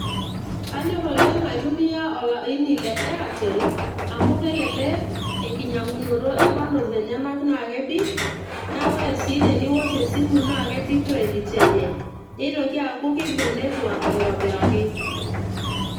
kanyorr oleng aitumia olaini le airtel amu kelelek enkinyang'unoto e bundles enyenak naa kebik naa ore sii teniwosh esimu naa kebik credit enye nitoki aaku kibung network aitobiraki.